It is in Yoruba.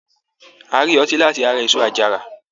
A rí ọtí láti ara èso àjàrà